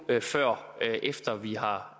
før efter vi har